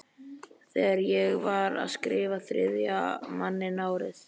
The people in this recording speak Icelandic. Þegar ég var að skrifa Þriðja manninn árið